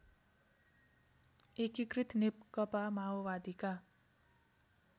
एकिकृत नेकपा माओवादीका